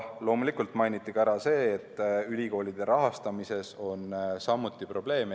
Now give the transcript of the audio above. Loomulikult mainiti ära ka see, et ülikoolide rahastamises on samuti probleeme.